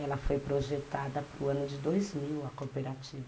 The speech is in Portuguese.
ela foi projetada para o ano de dois mil, a cooperativa.